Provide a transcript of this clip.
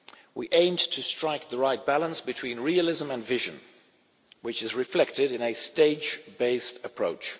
We aimed to strike the right balance between realism and vision, which is reflected in a stage based approach.